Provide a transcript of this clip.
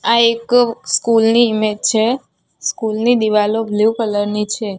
આ એક સ્કૂલ ની ઈમેજ છે સ્કૂલ ની દિવાલો બ્લુ કલર ની છે.